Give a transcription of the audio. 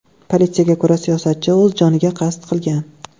Politsiyaga ko‘ra, siyosatchi o‘z joniga qasd qilgan.